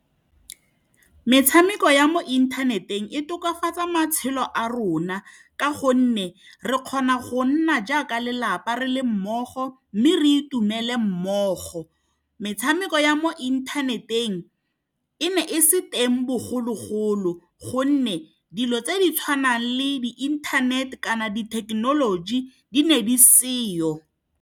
Metshameko ya mo inthaneteng e tokafatsa matshelo a rona, ka gonne re kgona go nna jaaka lelapa re le mmogo mme re itumele mmogo. Metshameko ya mo inthaneteng e ne e se teng bogologolo, gonne dilo tse di tshwanang le inthanete kana dithekenoloji di ne di se jalo.